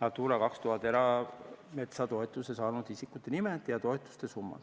Natura 2000 erametsatoetust saanud isikute nimed ja toetuste summad.